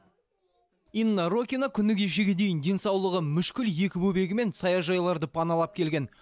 инна рокина күні кешеге дейін денсаулығы мүшкіл екі бөбегімен саяжайларды паналап келген